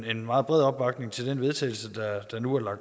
en meget bred opbakning til det vedtagelse der nu er